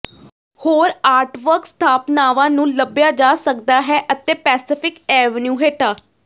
ਹੋਰ ਆਰਟਵਰਕ ਸਥਾਪਨਾਵਾਂ ਨੂੰ ਲੱਭਿਆ ਜਾ ਸਕਦਾ ਹੈ ਅਤੇ ਪੈਸੀਫਿਕ ਏਵੇਨਿਊ ਹੇਠਾਂ